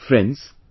Friends,